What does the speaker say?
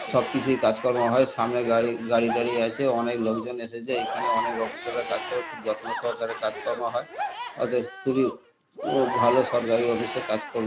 সবকিছুই কাজকর্ম হয় সামনে গাড়ি গাড়ি টারি আছে অনেক লোকজন এসেছে এইখানে অনেক অফিসার -রা কাজ কর যত্নসহকারে কাজকর্ম হয় অতএব খুবই আ ভালো সরকারি অফিস -এ কাজকর্ম।